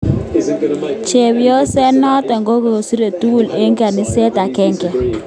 Chepyoset noto kokisoe tugul eng kaniset agenge